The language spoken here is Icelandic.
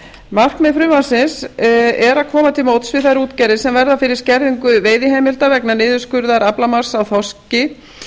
markmið frumvarpsins er að koma til móts við þær útgerðir sem verða fyrir skerðingu veiðiheimilda vegna niðurskurðar aflamarks í þorski